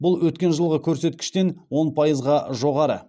бұл өткен жылғы көрсеткіштен он пайызға жоғары